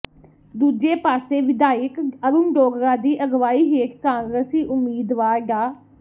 ਦੂਜੇ ਪਾਸੇ ਵਿਧਾਇਕ ਅਰੁਣ ਡੋਗਰਾ ਦੀ ਅਗਵਾਈ ਹੇਠ ਕਾਂਗਰਸੀ ਉਮੀਦਵਾਰ ਡਾ